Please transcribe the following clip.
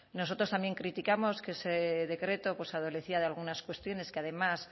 nosotros también criticamos que ese decreto pues adolecía de algunas cuestiones que además